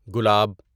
گلاب